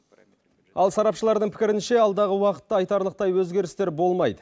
ал сарапшылардың пікірінше алдағы уақытта айтарлықтай өзгерістер болмайды